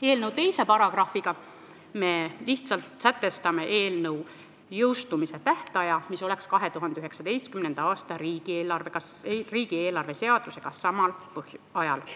Eelnõu §-ga 2 me lihtsalt sätestame eelnõu jõustumise tähtaja, eelnõu jõustuks 2019. aasta riigieelarve seadusega samal ajal.